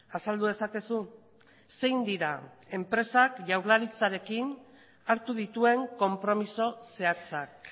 azaldu dezakezu zein dira enpresak jaurlaritzarekin hartu dituen konpromiso zehatzak